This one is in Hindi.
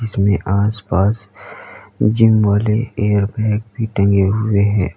इसमें आस-पास जिम वाले एयर बैग भी टंगे हुए हैं।